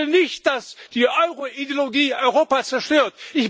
Ich will nicht, dass die Euro Ideologie Europa zerstört.